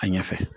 A ɲɛfɛ